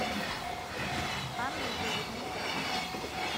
анной юрьевной